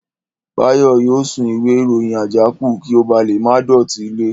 Báyọ̀ yóò sun ìwé ìròyìn àjákù kí ó ba lè má dọ̀tí ilẹ̀